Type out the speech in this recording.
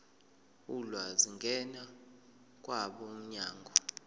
ulwazi ngena kwabomnyango